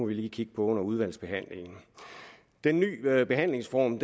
vi lige kigge på under udvalgsbehandlingen den nye behandlingsform